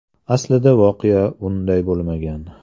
Aslida, voqea unday bo‘lmagan.